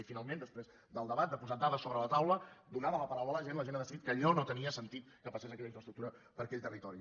i finalment després del debat de posar dades sobre la taula donada la paraula a la gent la gent ha decidit que allò no tenia sentit que passés aquella infraestructura per aquell territori